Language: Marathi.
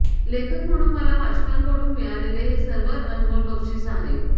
लेखक म्हणून मला वाचकांकडून मिळालेले हे सर्वात अनमोल बक्षीस आहे